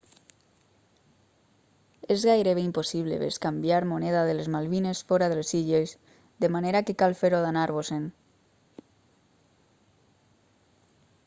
és gairebé impossible bescanviar moneda de les malvines fora de les illes de manera que cal fer-ho d'anar-vos-en